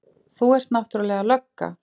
Þú ert náttúrlega lögga.